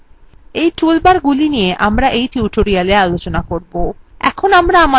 we toolbarsগুলি নিয়ে আমরা tutorialswe আলোচনা করবো